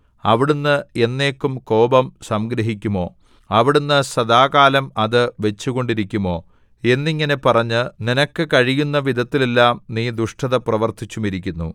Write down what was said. അവിടുന്ന് എന്നേക്കും കോപം സംഗ്രഹിക്കുമോ അവിടുന്ന് സദാകാലം അത് വച്ചുകൊണ്ടിരിക്കുമോ എന്നിങ്ങനെ പറഞ്ഞ് നിനക്ക് കഴിയുന്ന വിധത്തിലെല്ലാം നീ ദുഷ്ടത പ്രവർത്തിച്ചുമിരിക്കുന്നു